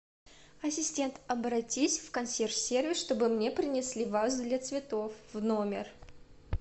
ассистент обратись в консьерж сервис чтобы мне принесли вазу для цветов в номер